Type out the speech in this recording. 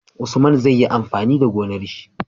Usman zai yi amfani da gonar shi?